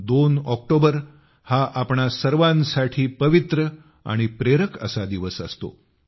2 October हा आपणा सर्वांसाठी पवित्र आणि प्रेरक असा दिवस असतो